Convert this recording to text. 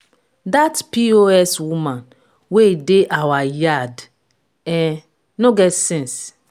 dat pos woman wey dey our yard um no get sense.